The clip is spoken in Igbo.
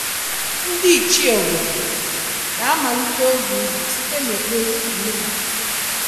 Ndị Ichie obodo na-amalite oge ubi site n’ekpere omenala.